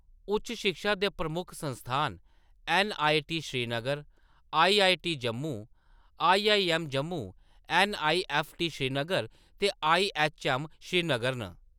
उच्च शिक्षा दे प्रमुख संस्थान N. I. T. Srinagar, I. I. T. Jammu, I. I. M. Jammu, N. I. F. T. Srinagar ते आई. एच. एम. श्रीनगर न।